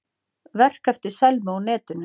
Verk eftir Selmu á netinu